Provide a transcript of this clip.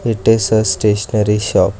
it is a stationery shop.